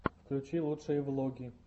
включи лучшие влоги